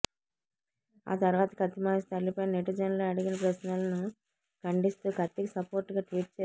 ఆ తర్వాత కత్తి మహేశ్ తల్లిపైన నెటిజన్లు అడిగిన ప్రశ్నలను ఖండిస్తూ కత్తికి సపోర్ట్ గా ట్వీట్ చేసింది